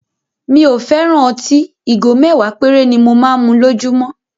Mi ò fẹ́ràn ọtí; Ìgò mẹ́wàá péré ni mo máa ń mu lójúmọ́.